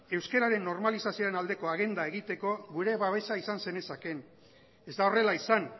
euskararen normalizazioaren aldeko agenda egiteko gure babesa izan zenezakeen ez da horrela izan